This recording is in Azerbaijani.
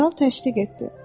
Kral təşdiq etdi.